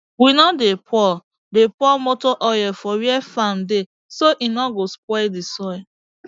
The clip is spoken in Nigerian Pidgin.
we no dey pour dey pour motor oil for where farm dey so e no go spoil d soil